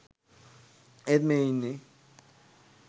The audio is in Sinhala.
ඒත් මේ ඉන්නේ